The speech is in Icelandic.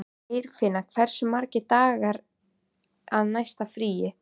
Geirfinna, hversu margir dagar fram að næsta fríi?